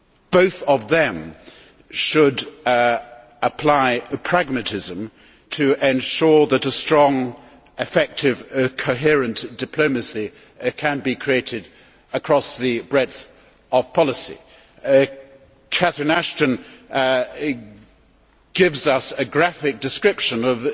Both of them should apply pragmatism to ensure that a strong, effective, coherent diplomacy can be created across the breadth of policy. Catherine Ashton gives us a graphic description of